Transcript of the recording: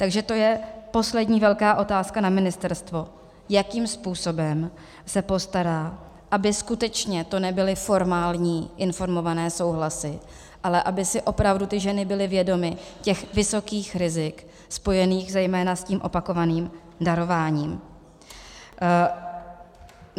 Takže to je poslední velká otázka na ministerstvo, jakým způsobem se postará, aby skutečně to nebyly formální informované souhlasy, ale aby si opravdu ty ženy byly vědomy těch vysokých rizik spojených zejména s tím opakovaným darováním.